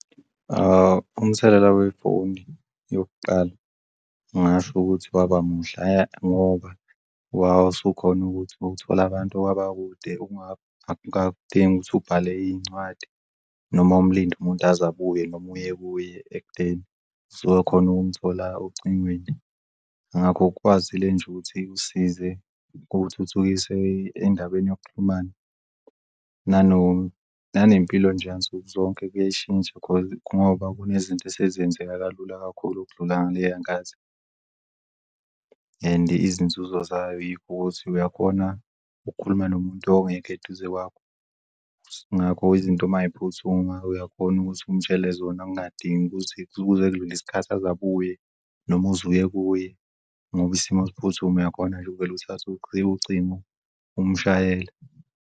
Umthelela wefoni yokuqala ngingasho ukuthi waba muhle ngoba wawusukhona ukuthi uthole abantu abakude akudingi ukuthi ubhale iy'ncwadi noma umlinde umuntu aze abuye, noma uye ekudeni. Suke khona ukumthola ocingweni ingakho kwazile nje ukuthi usize kuthuthukise endabeni yokuxhumana. Nanempilo nje yansuku zonke kuyashintsha ngoba kunezinto esezenzeka kalula kakhulu ukudlula ngaleya nkathi. And izinzuzo zaykhona yikho ukuthi uyakhona ukukhuluma nomuntu ongekho eduze kwakho, ngakho izinto mayiphuthuma uyakhona ukuthi umtshele zona, kungadingi ukuthi ukuze kudlule isikhathi aze abuye noma uzuye kuye ngoba isimo siphuthuma uyakhona nje ukuvele uthathe ucingo umshayele.